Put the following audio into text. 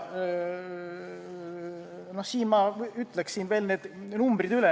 Siin ma ütleksin veel need numbrid üle.